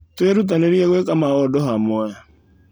Twĩrutanĩrie gwĩka maũndũ hamwe.